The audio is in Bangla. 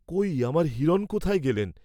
কৈ আমার হিরণ কোথায় গেলেন?